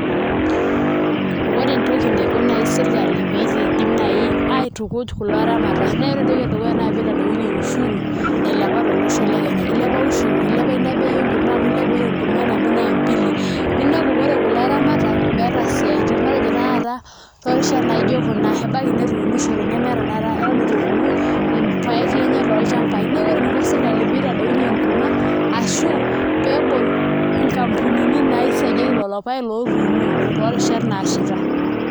Ore entoki naiko naai sirkali pee iidim naai aitukuj kulo aramata naa ore entoki edukuya naa pee itadou ushuru nailepa tolosho le Kenya, ilepa ushuru ilepa ina bei enkurma ore enkurma nabo naa mbili ninepu ore kulo aramatak meeta isiaitin matejo tanakata toorishat naa ijio kuna ebaiki netuunishote kake eton itu epuku irpaek lenye tolchambai neeku ore eniko sirkali pee itadounyie enkurma ashu pee ebol nkampunini naisagieki lelo paek lotuunoki toorishat naashaita.